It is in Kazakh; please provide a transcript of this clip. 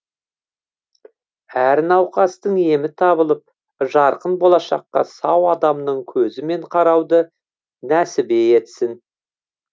әр науқастың емі табылып жарқын болашаққа сау адамның көзімен қарауды нәсібе етсін